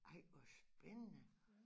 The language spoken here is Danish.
Ej hvor spændende